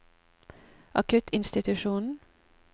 akuttinstitusjonen